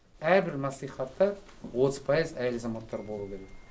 әрбір мәслихатта отыз пайыз әйел азаматтар болу керек